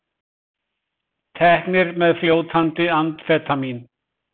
Teknir með fljótandi amfetamín